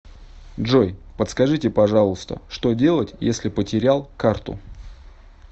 джой подскажите пожалуйста что делать если потерял карту